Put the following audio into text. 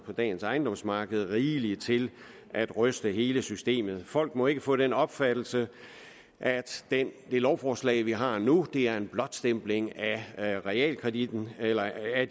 på dagens ejendomsmarked rigeligt til at ryste hele systemet folk må ikke få den opfattelse at det lovforslag vi har nu er en blåstempling af realkreditten eller af